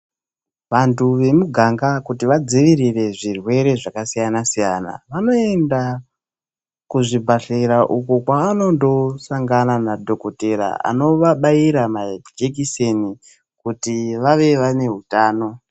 Vantu vemuganga kuti vadziirire zvirwere zvakasiyana siyana, vanoenda kuzvibhedhlera uko kwavanondosangana nadhokodheya anovabaira majekiseni kuti vave vane utano.